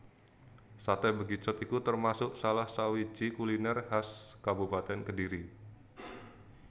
Saté Bekicot iku termasuk salah sawiji kuliner khas Kabupatèn Kediri